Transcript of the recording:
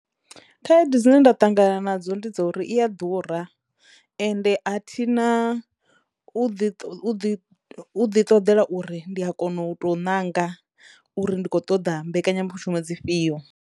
Khaedu dzine nda ṱangana nadzo ndi dza uri iya ḓura ende a thina u ḓi ṱo u ḓi u ḓi ṱoḓela uri ndi a kono u to nanga uri ndi khou ṱoḓa mbekanyamushumo dzi fhio.